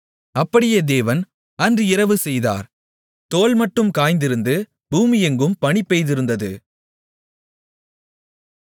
அப்படியே தேவன் அன்று இரவு செய்தார் தோல்மட்டும் காய்ந்திருந்து பூமியெங்கும் பனி பெய்திருந்தது